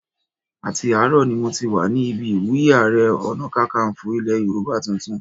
Àti àárọ̀ ni mo ti wà ní ibi ìwúyé Ààrẹ Ọ̀nàkakanfò ilẹ̀ Yorùbá tuntun